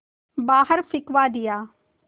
बाहर फिंकवा दिया